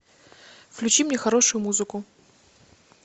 включи мне хорошую музыку